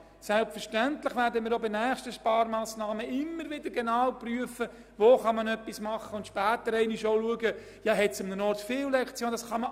Selbstverständlich werden wir auch bei zukünftigen Sparmassnahmen immer wieder genau prüfen, ob es an einem Ort zu viele Lektionen hat.